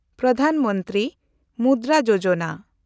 Pradhan Mantri Mudra Yojana